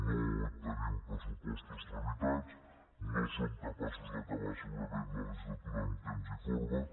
no tenim pressupostos tramitats no som capaços d’acabar segurament la legislatura en temps i forma